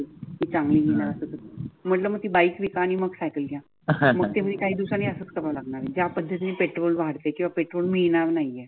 चांगल म्हटल मग ती बाइक विका आणि मग सायकल घ्या. मग ते असच कराव लागणार आहे ज्या पद्धतीन पेट्रोल वाढते किंवा पेट्रोल मिळणार नाहीये.